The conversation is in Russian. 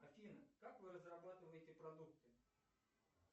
афина как вы разрабатываете продукты